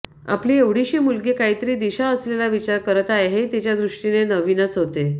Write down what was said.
आपली एवढीशी मुलगी काहीतरी दिशा असलेला विचार करत आहे हे तिच्या दृष्टीने नवीनच होते